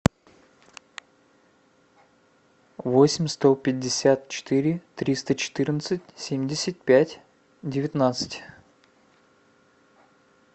восемь сто пятьдесят четыре триста четырнадцать семьдесят пять девятнадцать